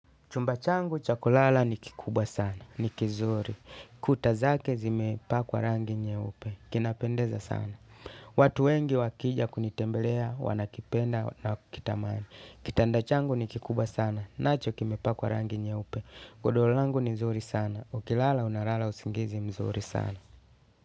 Chumba changu cha kulala ni kikubwa sana. Ni kizuri. Kuta zake zimepakwa rangi nyeupe. Kinapendeza sana. Watu wengi wakija kunitembelea, wanakipenda na kukitamani. Kitanda changu ni kikubwa sana. Nacho kimepakwa rangi nyeupe. Godoro langu ni mzuri sana. Ukilala unalala usingizi mzuri sana.